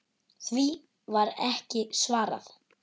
Því var ekki svarað.